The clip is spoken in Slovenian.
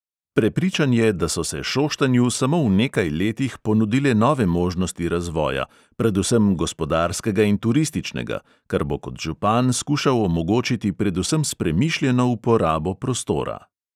Prepričan je, da so se šoštanju samo v nekaj letih ponudile nove možnosti razvoja, predvsem gospodarskega in turističnega, kar bo kot župan skušal omogočiti predvsem s premišljeno uporabo prostora.